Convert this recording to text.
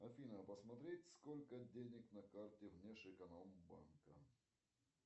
афина посмотреть сколько денег на карте внеш эконом банка